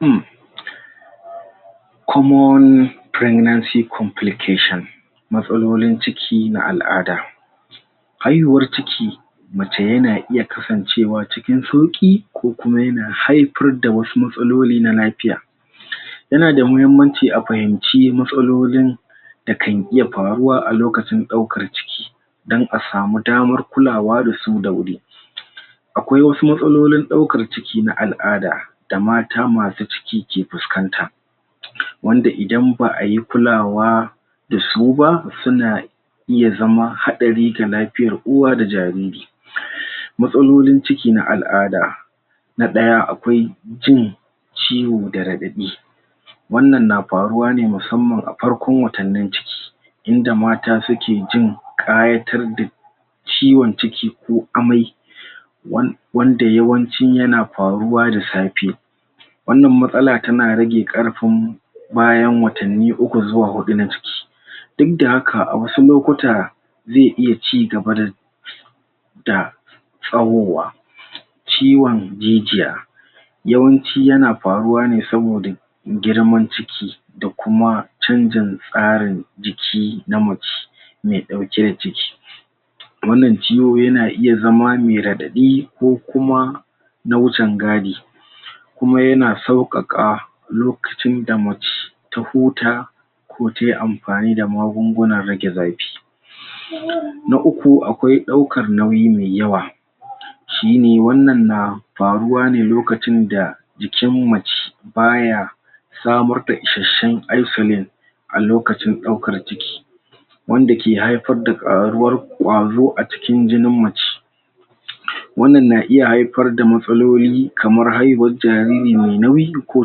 Umm Matsalolin ciki na al'ada ayuwar ciki mace ya na iya kasancewa cikin sauki ko kuma ya na haifar da wasu matsaloli na lafiya Ya na da mahimmanci a fahimci matsalolin da kan iya faruwa a lokacin daukar ciki dan a samu damar kulawa da su da wuri. Akwai wasu matsalolin daukar ciki na al'ada da mata masu ciki ke fuskanta, wanda idan ba'a yi kulawa da su ba, su na iya zama haɗari ga lafiyar uwa da jariri. Matsalolin ciki na al'ada na daya akwai jin ciwo da radaɗi wannan na faruwa ne musamman a farkon watanin ciki inda mata su ke jin ƙayatar da ciwon ciki ko ammai wan wanda yawanci ya na faruwa da safe. Wannan matsala ta na rage karfin bayan watani uku zuwa hudu na jiki. Duk da haka a wasu lokuta ze iya ci gaba da da tsawowa. Ciwon jijiya yawanci ya na faruwa ne saboda girman ciki da kuma canjin tsarin jiki na mace mai dauke da ciki. Wannan ciwo ya na iya zama mai raɗaɗi ko kuma na wucen gadi kuma ya na saukaka lokacin da mace ta huta ko ta yi amfani da magungunan rage zafi. Na uku akwai daukar nauyi me yawa shi ne wannan na faruwa ne lokacin da jikin mace baya samur da isheshen a lokacin daukar ciki wanda ke haifar da karuwar kwaro a cikin jinin mace. Wannan na iya haifar da matsaloli kamar haihuwar jariri me nauyi ko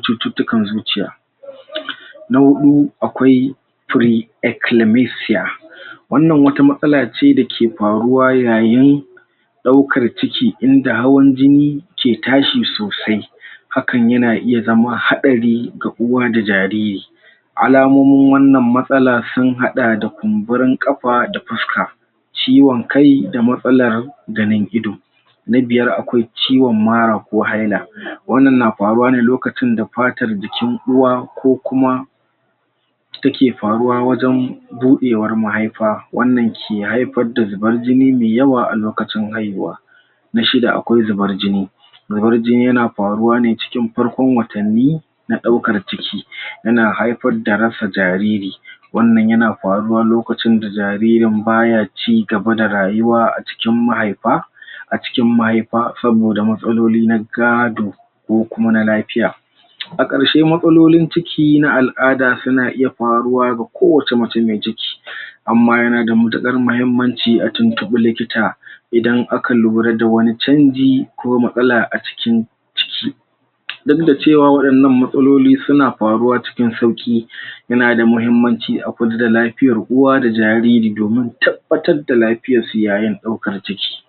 cututukar zuciya. Na hudu akwai wannan wata matsala ce da ke faruwa yayin daukar ciki inda hawan jini ke tashi sosai hakan ya na iya zaman haɗari ga uwa da jariri alamomin wannan matsala sun hada da kunburin kafa da fuska ciwon kai da matsala ganin ido. Na biyar akwai ciwon mara ko hyla. wanna na faruwa ne lokacin da patar jikin ɗuwa ko kuwa ta ke faruwa wajen budewar mahaifa wannan ke haifar da zubar jini me yawa a lokacin haihuwa. Na shida akwai zubar jini. Zubar jini ya na faruwa ne cikin farkon watani na daukar jiki, ya na haifar da rasa jariri. Wannan ya na faruwa lokacin da jaririn ba ya cigaba da rayuwa a cikin mahaifa a cikin mahaifa saboda matsaloli na gado ko kuma na lafiya. A karshe matsalolin ciki na al'ada su na iya faruwa ga ko wace na mace me jiki. Amma ya na da matakar mahimmanci a tuntunbe likita idan a ka lura da wani canji ko matsala a cikin ciki. Nan da cewa wadannan matsaloli su na faruwa cikin sauki ya na da mahimmanci a kula da lafiyar uwa da jariri domin tabbatar da lafiyar suyayen daukar ciki.